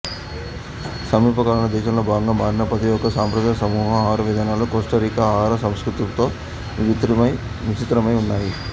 సమీపకాలంలో దేశంలో భాగంగా మారిన ప్రతి ఒక్క సంప్రదాయ సమూహం ఆహారవిధానాలు కోస్టారికా ఆహారసంస్కృతితో మిశ్రితమై ఉన్నాయి